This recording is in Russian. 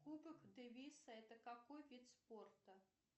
кубок дэвиса это какой вид спорта